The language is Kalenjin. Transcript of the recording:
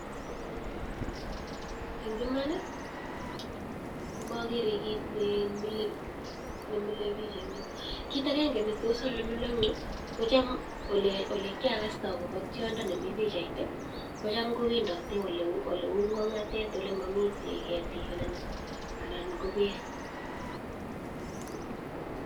Eng iman, ko magere kit ne mile piik en yu. Kit agenge, ole kagasta ole tiondo ni nemi pichait kotam kowendate ole u ng'ong'atet ole mami ketik anan ko peek.